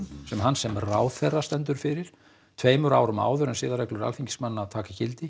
sem hann sem ráðherra stendur fyrir tveimur árum áður en siðareglur Alþingismanna taka gildi